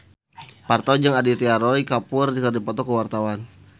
Parto jeung Aditya Roy Kapoor keur dipoto ku wartawan